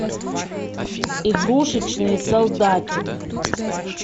игрушечный солдатик